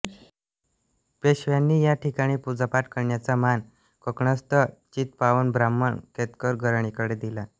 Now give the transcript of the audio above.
पेशव्यांनी या ठिकणी पूजापाठ करण्याचा मान कोकणस्थ चित्पावन ब्राह्मण केतकर घराण्याकडे दिला